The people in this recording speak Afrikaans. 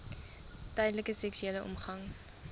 tydens seksuele omgang